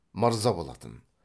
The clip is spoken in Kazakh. мырза болатын